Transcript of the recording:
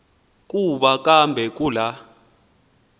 kuba kambe kula